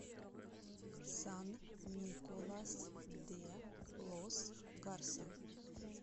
сан николас де лос гарса